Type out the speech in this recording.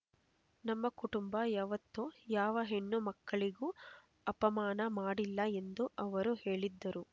ನಮ್ಮ ಕುಟುಂಬ ಯಾವೊತ್ತು ಯಾವ ಹೆಣ್ಣು ಮಕ್ಕಳಿಗೂ ಅಪಮಾನ ಮಾಡಿಲ್ಲ ಎಂದು ಅವರು ಹೇಳಿದ್ದರು